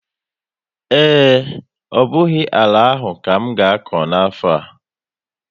Ee, ọ bụghị àlà áhù ka m ga-akọ n'afo a